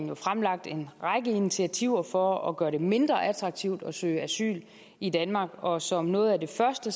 jo fremlagt en række initiativer for at gøre det mindre attraktivt at søge asyl i danmark og som noget af det første